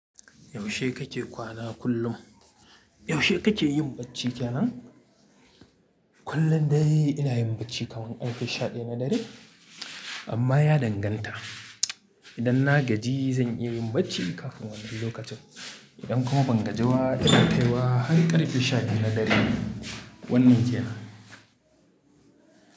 Yaushe kake kwana kullum? Yaushe kake yin bacci kenan? Kullun dai ina yin bacci kaman ƙarfe sha ɗaya na dare, amma ya danganta. Idan na gaji zan iya yin bacci kafin wannan lokacin. Idan kuma ban gaji ba ina kaiwa har ƙarfe sha ɗaya na dare wannan kenan.